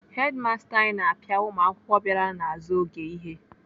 Hedimasta anyị na-apịa ụmụakwụkwọ bịara n'azụ oge ihe.